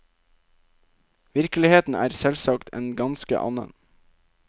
Virkeligheten er selvsagt en ganske annen.